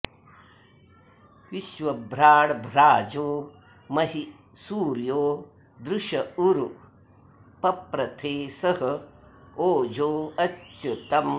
विश्वभ्राड्भ्राजो महि सूर्यो दृश उरु पप्रथे सह ओजो अच्युतम्